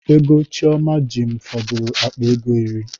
Ego Chioma ji m fọdụrụ akpa ego iri